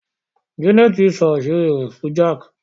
Jane nsọ àṣírí rẹ̀ fún Jack.